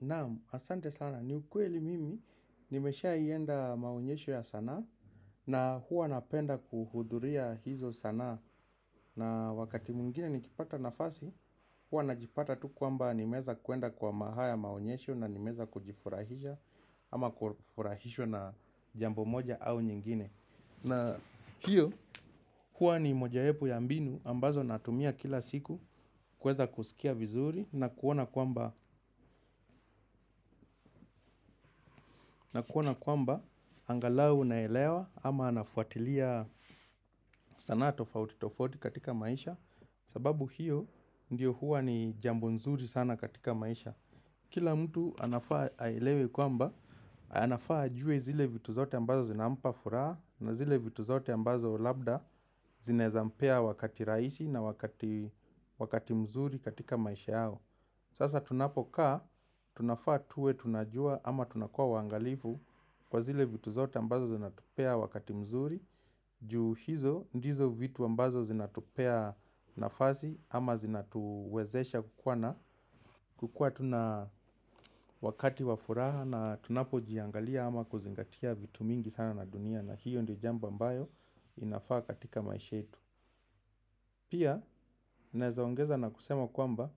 Now, asante sana ni ukweli mimi nimeshai enda maonyesho ya sanaa, na huwa napenda kuhudhuria hizo sanaa na wakati mwingine nikipata nafasi, huwa najipata tu kwamba nimeeza kwenda kwa haya maonyesho na nimeeza kujifurahisha ama kufurahishwa na jambo moja au nyingine. Na hiyo huwa ni mojayapo ya mbinu ambazo natumia kila siku kueza kusikia vizuri na kuona kwamba angalau naelewa ama nafuatilia sanaa tofauti tofauti katika maisha, sababu hiyo ndiyo huwa ni jambo nzuri sana katika maisha. Kila mtu anafaa aelewe kwamba, anafaa ajue zile vitu zote ambazo zinampa furaha na zile vitu zote ambazo labda zinaeza mpea wakati rahisi na wakati mzuri katika maisha yao. Sasa tunapokaa, tunafaa tuwe tunajua ama tunakuwa waangalifu kwa zile vitu zote ambazo zinatupea wakati mzuri juu hizo, ndizo vitu ambazo zinatupea nafasi ama zinatuwezesha kukuwa tuna wakati wafuraha na tunapo jiangalia ama kuzingatia vitu mingi sana na dunia na hiyo ndi jambo ambayo inafaa katika maisha yetu pia, naweza ongeza kwa kusema ya kwamba,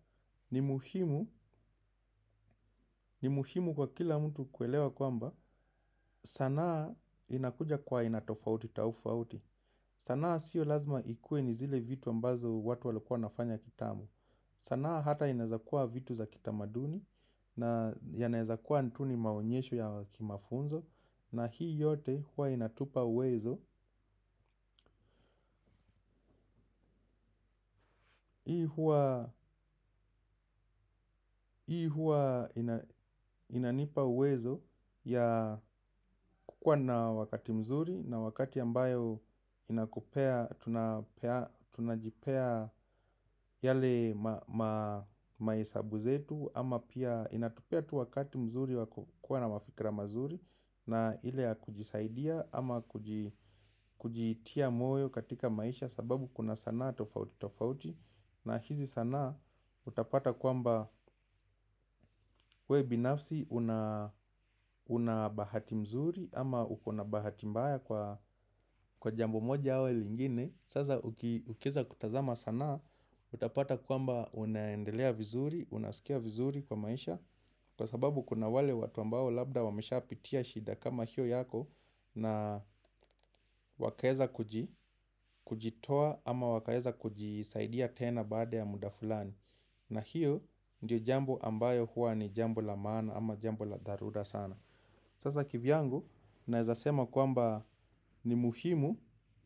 ni muhimu ni muhimu kwa kila mtu kuelewa kwamba sanaa inakuja kwa aina tofauti tafauti. Sanaa sio lazima ikue ni zile vitu ambazo watu walikuwa wanafanya kitambo. Sanaa hata inaezakuwa vitu za kitamaduni na yanaezakuwa tu ni maonyesho ya kimafunzo na hii yote huwa inatupea uwezo huwa inanipa uwezo wa kuwa na wakati mzuri, na wakati ambayo tunajipea yale. Mahesabu yetu ama pia inatupea tu wakati mzuri wa kukuwa na mafikra mazuri na ile ya kujisaidia ama kujitia moyo katika maisha sababu kuna sanaa tofauti tofauti, na hizi sanaa utapata kwamba we binafsi unabahati mzuri ama ukona bahati mbaya kwa jambo moja au lingine sasa ukieza kutazama sanaa, utapata kwamba unaendelea vizuri. Unaskia vizuri kwa maisha kwa sababu kuna wale watu ambao labda wamesha pitia shida kama hiyo yako na wakaeza kujitoa ama wakaeza kujisaidia tena baada ya muda fulani na hiyo ni jambo ambalo huwa ni jambo la maana au la dharura sana. Sasa kivyangu naeza sema kwamba ni muhimu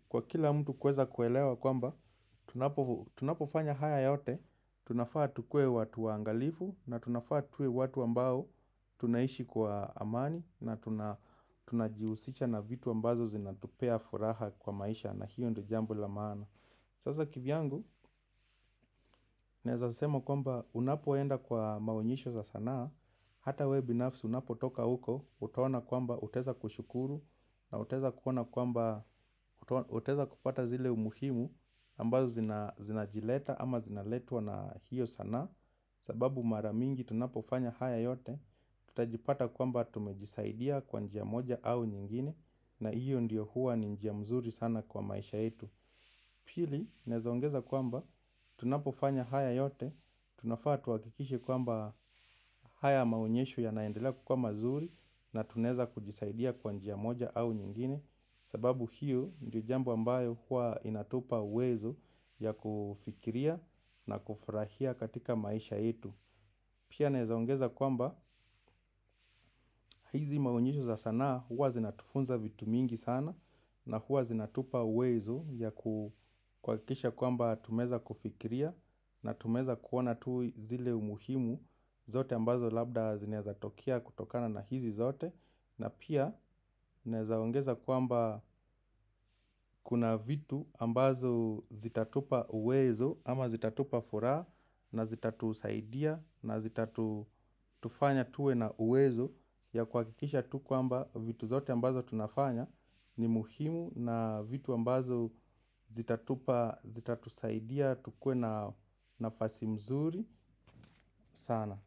kwa kila mtu kueza kuelewa kwamba, tunapofanya haya yote, tunafaa tukuwe watu waangalifu na tunafaa tuwe watu ambao tunaishi kwa amani na tunajiuchisha na vitu ambazo zinatupea furaha kwa maisha na hiyo ndio jambo la maana sasa kivyangu, naeza sema kwamba unapoenda kwa maonyesho za sanaa, hata we binafsi unapo toka huko, utaona kwamba utaeza kushukuru na utaeza kupata zile umuhimu ambazo zinajileta ama zinaletwa na hiyo sanaa kwa sababu mara mingi tunapofanya haya yote, tutajipata kwamba tumejisaidia kwa njia moja au nyingine na hiyo ndio huwa ni njia mzuri sana kwa maisha yetu. Pili, naeza ongeza kwamba tunapofanya haya yote, tunafaa tuhakikishe kwamba haya maonyesho yanaendelea kukuwa mazuri, na tunaeza kujisaidia kwa njia moja au nyingine. Sababu hiyo ndio jambo ambayo huwa inatupa uwezo ya kufikiria na kufurahia katika maisha yetu. Pia naeza ongeza kwamba hizi maonyesho za sanaa huwa zinatufunza vitu mingi sana na huwa zinatupa uwezo ya kuhakikisha kwamba tumeeza kufikiria, na tumeeza kuona tu zile umuhimu zote ambazo labda zinaeza tokea kutokana na hizi zote. Na pia naeza ongeza kwamba kuna vitu ambazo zitatupa uwezo ama zitatupa furaha na zitatusaidia na zitatufanya tuwe na uwezo ya kwa kuhakikisha tu kwamba vitu zote ambazo tunafanya ni muhimu na vitu ambazo zitatupa zitatusaidia tukuwe na nafasi mzuri sana.